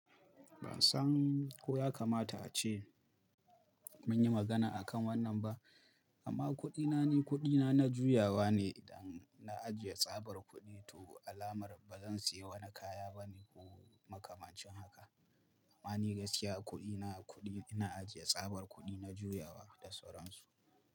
Ban san ko ya kamata ace mun yi magana akan wannan ba, amma kuɗina ne kuɗina na juyawa ne. Idan na ajiye tsabar kuɗi toh alamar ba zan sayi wani kaya ba ne ko makamancin haka. Amma ni gaskiya kuɗi na kuɗi ina ajiye tsabar kuɗi na juyawa da sauransu.